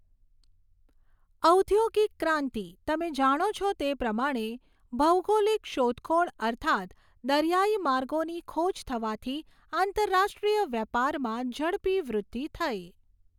ઔધોગિક ક્રાંતિ, તમે જાણો છો તે પ્રમાણે, ભૌગોલિક શોધખોળ અર્થાત્ દરિયાઈ માર્ગોની ખોજ થવાથી આંતરરાષ્ટ્રિય વ્યાપારમાં ઝડપી વૃદ્ધિ થઈ.